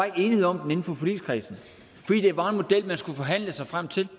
ikke enighed om den inden for forligskredsen fordi det var en model man skulle forhandle sig frem til